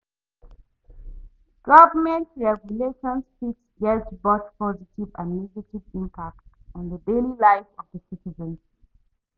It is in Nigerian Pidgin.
government regulations fit get both positive and negative impact on di daily life of di citizens.